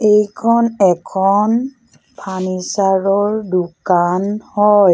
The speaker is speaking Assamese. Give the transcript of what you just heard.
এইখন এখন ফাৰ্নিছাৰ ৰ দোকান হয়।